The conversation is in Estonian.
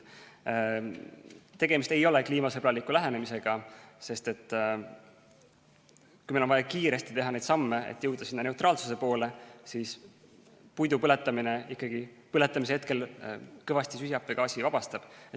Tegemist ei ole kliimasõbraliku lähenemisega, sest kui meil on vaja kiiresti teha samme, et jõuda sinna neutraalsuse poole, siis puidu põletamine ikkagi põletamise hetkel kõvasti süsihappegaasi vabastab.